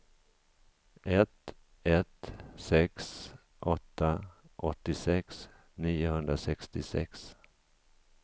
ett ett sex åtta åttiosex niohundrasextiosex